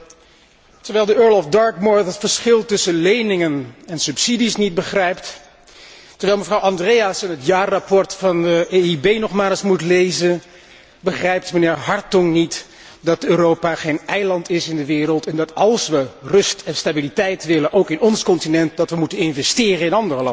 Terwijl de Earl of Dartmouth het verschil tussen leningen en subsidies niet begrijpt, terwijl mevrouw Andreasen het jaarverslag van de EIB nog maar eens moet lezen, begrijpt mijnheer Hartong niet dat Europa geen eiland is in de wereld, en dat als wij rust en stabiliteit willen, ook in ons continent, wij moeten investeren in andere landen.